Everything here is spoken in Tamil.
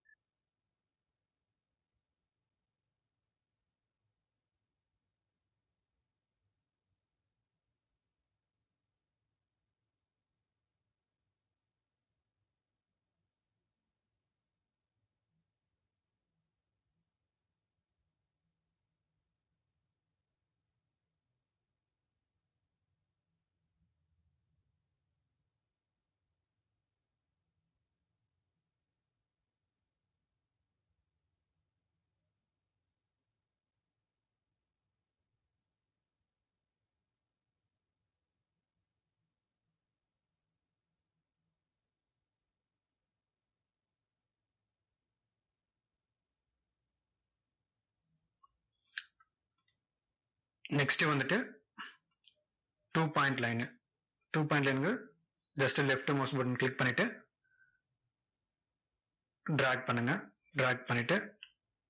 next வந்துட்டு two point line two point line ங்கறது just left mouse button ன click பண்ணிட்டு, drag பண்ணுங்க drag பண்ணிட்டு,